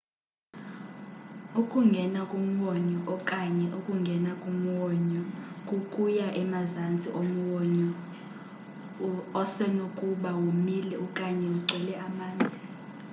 ukungea kumwonyo okanye: ukungena kumwonyo kukuya emazantsi omwonyo osenokuba womile okanye ugcwele amanzi